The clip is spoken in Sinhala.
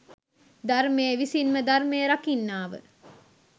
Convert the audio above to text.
ධර්මය විසින්ම ධර්මය රකින්නාව